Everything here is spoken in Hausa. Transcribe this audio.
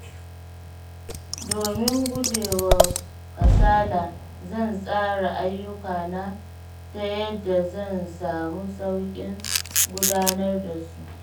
Domin gujewa kasala, zan tsara ayyukana ta yadda zan samu sauƙin gudanar da su.